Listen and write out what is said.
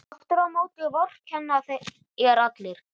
Aftur á móti vorkenna þér allir.